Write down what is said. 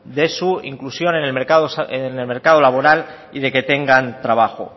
de su inclusión en el mercado laboral y de que tengan trabajo